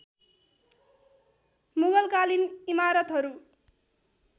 मुगलकालीन इमारतहरू